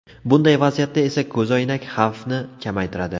Bunday vaziyatda esa ko‘zoynak xavfni kamaytiradi.